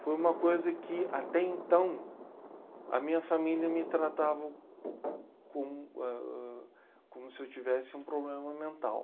Foi uma coisa que, até então, a minha família me tratava como, ãh, como se eu tivesse um problema mental.